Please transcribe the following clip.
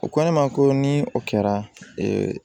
U ko ne ma ko ni o kɛra ee